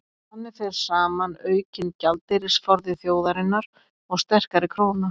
þannig fer saman aukinn gjaldeyrisforði þjóðarinnar og sterkari króna